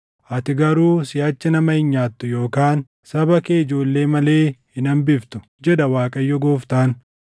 ati garuu siʼachi nama hin nyaattu yookaan saba kee ijoollee malee hin hambiftu, jedha Waaqayyo Gooftaan.